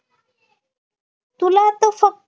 तुला आता फक